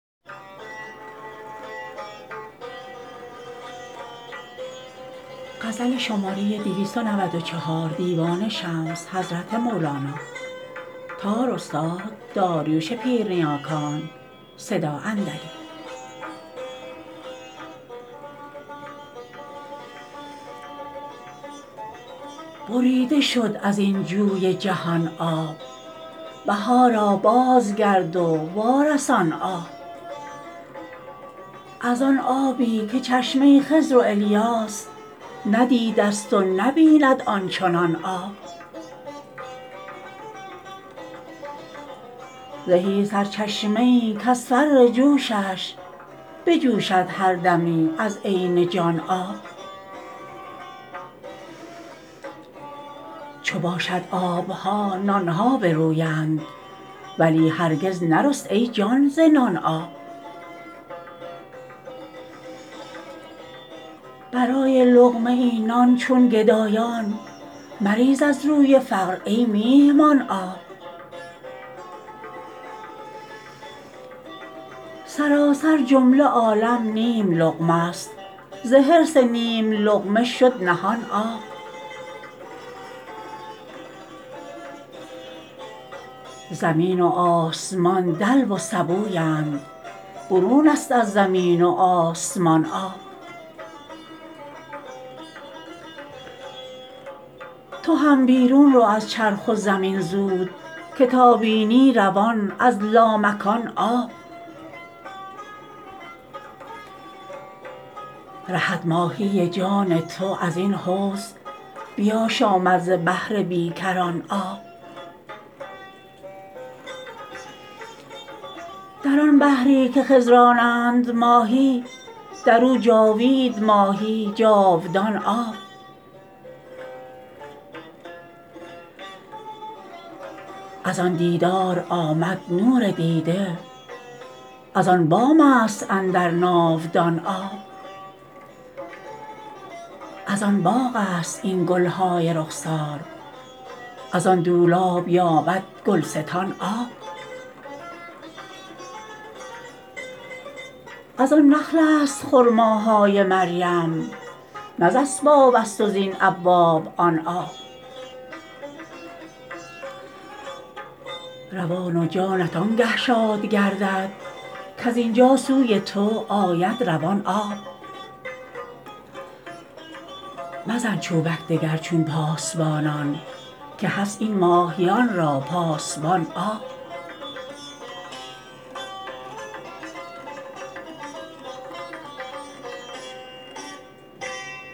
بریده شد از این جوی جهان آب بهارا بازگرد و وارسان آب از آن آبی که چشمه خضر و الیاس ندیدست و نبیند آن چنان آب زهی سرچشمه ای کز فر جوشش بجوشد هر دمی از عین جان آب چو باشد آب ها نان ها برویند ولی هرگز نرست ای جان ز نان آب برای لقمه ای نان چون گدایان مریز از روی فقر ای میهمان آب سراسر جمله عالم نیم لقمه ست ز حرص نیم لقمه شد نهان آب زمین و آسمان دلو و سبویند برون ست از زمین و آسمان آب تو هم بیرون رو از چرخ و زمین زود که تا بینی روان از لامکان آب رهد ماهی جان تو از این حوض بیاشامد ز بحر بی کران آب در آن بحری که خضرانند ماهی در او جاوید ماهی جاودان آب از آن دیدار آمد نور دیده از آن بام ست اندر ناودان آب از آن باغ ست این گل های رخسار از آن دولاب یابد گلستان آب از آن نخل ست خرماهای مریم نه ز اسباب ست و زین ابواب آن آب روان و جانت آنگه شاد گردد کز این جا سوی تو آید روان آب مزن چوبک دگر چون پاسبانان که هست این ماهیان را پاسبان آب